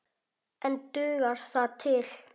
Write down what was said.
En dugar það til?